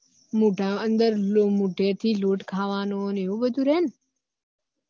મૂઢા અન્દર મુઢે થી લોટ ખાવાનો એવું બધું રે ને